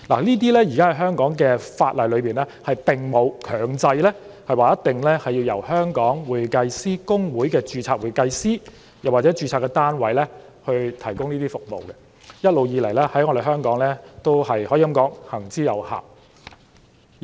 在現時的香港法例下，並沒有強制規定必須由公會的註冊會計師或註冊單位提供這些服務，而這在香港亦一直行之有效。